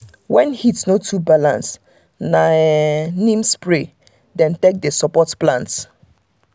when heat no too balance na um neem spray um dem take dey support plants.